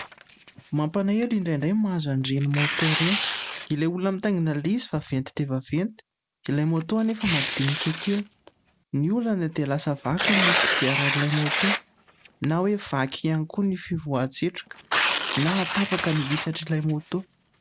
mampalahelo indray indray no mahazo an'ireny moto ireny ilay olona mitaingina ilay izy vaventy dia vaventy ilay moto anefa madinika kely ny olana dia lasa vaky ny kodiaran'ilay moto na hoe vaky ihany koa ny fivoahan-tsetroka na hatapaka ny isatr'ilay moto